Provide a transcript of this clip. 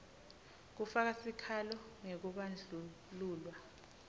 kufaka sikhalo ngekubandlululwa